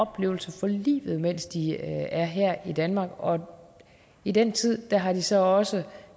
oplevelse for livet mens de er her i danmark og i den tid har de så også